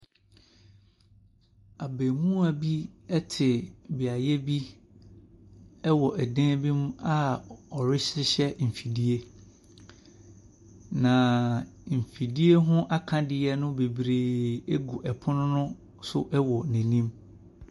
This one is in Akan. Abemoa bi ɛte beaeɛ bi ɛwɔ ɛdan bi mu a ɔrehyehyɛ nfidie. na nfidie ho akadiɛ no bebree egu ɛpono no so egu n'anim.